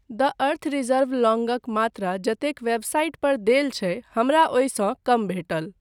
द earth reserve लौङ्गक मात्रा जतेक वेबसाइटपर देल छै हमरा ओहिसँ कम भेटल।